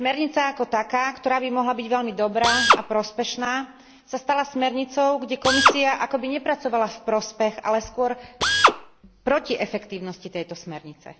Smernica ako taká, ktorá by mohla byť veľmi dobrá a prospešná, sa stala smernicou, kde Komisia akoby nepracovala v prospech, ale skôr proti efektívnosti tejto smernice.